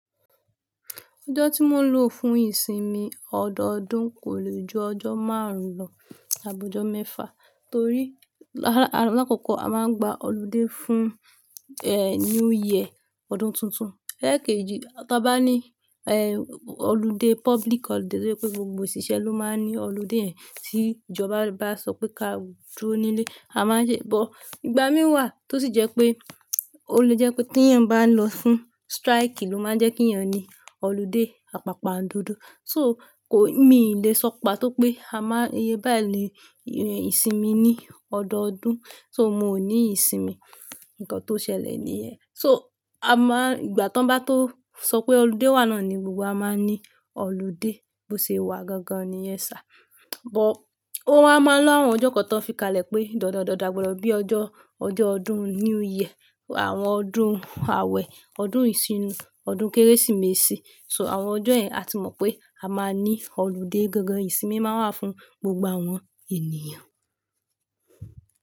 Ọjọ́ tí mo ń lò fún ìsinmi ọdọọdún kò lè ju ọjọ́ márùn-ún lọ, àbọ̀jọ́ mẹ́fà torí l-l-lákòókò a máa ń gba ọludé fún, eh, New Year, ọdún tuntun. Lẹ́èkejì, tí a bá ní, eh, ọludé, public ọludé, tí ó je wipé gbogbo òṣìṣẹ́ ló máa n ní ọludé yen ẹ̀, tí ìjọba bá sọ pé ká dúró nílé, a máa ṣe, bọ̀ ìgbà mìí wà tó sì jẹ́ pé, ó lè jẹ́ pé tí èèyàn bá ń lọ fún strike ló máa ń jẹ́ kí èèyàn ní ọludé àpàpàá n dodo. So kò, mi ò lè sọpàá tó pé a máa yé bá à le, eh, ìsinmi ní ọdọọdún. So mo ní ìsinmi, nǹkan tó ṣẹlẹ̀ nìyẹn. So a máa, ìgbà tí wọ́n bá tó sọ pé ọludé wa nàá ni gbogbo wa máa ní ọludé. Bo ṣe wà gangan nìyẹn sá. But ó máa ń lọ́ àwọn ọjọ́ kan tó fi kalẹ̀ pé dọ̀ọ́dọ̀ dọ̀ọ́dọ̀ àgbọ̀dọ̀ bí i ọjọ́, ọjọ́ ọdún New Year, àwọn ọdún àwẹ̀, ọdún ìṣínú, ọdún Kérésìmesì. So àwọn ọjọ́ yẹn a ti mọ̀ pé a máa ní ọludé gangan, ìsinmi máa wà fún gbogbo àwọn ènìyàn.